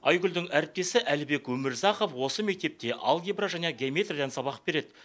айгүлдің әріптесі әлібек өмірзақов осы мектепте алгебра және геометриядан сабақ береді